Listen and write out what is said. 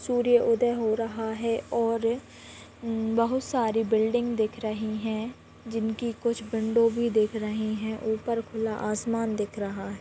सूर्य उदय हो रहा है और उम्म बहुत सारे बिल्डिंग दिख रही है जिनके कुछ विंडो भी दिख रही है ऊपर खुला आसमान दिख रहा है।